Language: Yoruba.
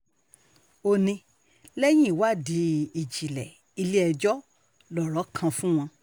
ó ní ní lẹ́yìn ìwádìí ìjìnlẹ̀ ilé-ẹjọ́ lọ̀rọ̀ kan fún wọn